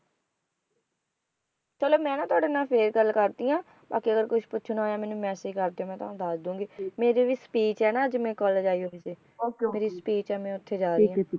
ਚਲੋ ਮੈਂ ਨਾ ਤੁਹਾਡੇ ਨਾਲ ਫੇਰ ਗੱਲ ਕਰਦੀ ਹਾਂ ਬਾਕੀ ਅਗਰ ਪੁੱਛਣਾ ਹੋਇਆ ਮੈਨੂੰ message ਕਰ ਦਿਓ ਮੈਂ ਤੁਹਾਨੂੰ ਦੱਸ ਦਊਂਗੀ ਮੇਰੀ ਵੀ speech ਹੈ ਨਾ ਅੱਜ ਮੈਂ college ਆਈ ਹੋਈ ਸੀ ਮੇਰੀ speech ਹੈ ਮੈਂ ਉੱਥੇ ਜਾ ਰਹੀ ਆ